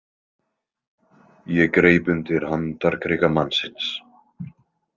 Ég greip undir handarkrika mannsins.